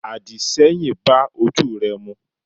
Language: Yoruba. àdìṣẹ́yìn bá ojú re mu.